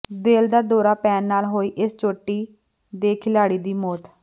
ਦਿਲ ਦਾ ਦੌਰਾ ਪੈਣ ਨਾਲ ਹੋਈ ਇਸ ਚੋਟੀ ਦੇ ਖਿਲਾੜੀ ਦੀ ਮੌਤ